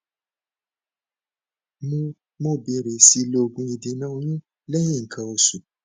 mo mo bẹrẹ sí i lo oògun ìdènà oyún lẹyìn nǹkan oṣù